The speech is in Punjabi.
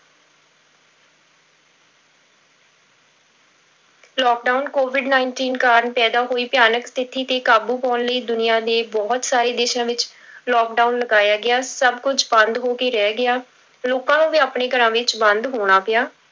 Lockdown covid nineteen ਕਾਰਨ ਪੈਦਾ ਹੋਈ ਭਿਆਨਕ ਸਥਿੱਤੀ ਤੇ ਕਾਬੂ ਪਾਉਣ ਲਈ ਦੁਨੀਆ ਦੇ ਬਹੁਤ ਸਾਰੇ ਦੇਸਾਂ ਵਿੱਚ lockdown ਲਗਾਇਆ ਗਿਆ, ਸਭ ਕੁੱਝ ਬੰਦ ਹੋ ਕੇ ਰਹਿ ਗਿਆ, ਲੋਕਾਂ ਨੂੰ ਵੀ ਆਪਣੇ ਘਰਾਂ ਵਿੱਚ ਬੰਦ ਹੋਣਾ ਪਿਆ।